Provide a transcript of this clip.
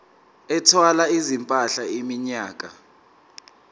ethwala izimpahla iminyaka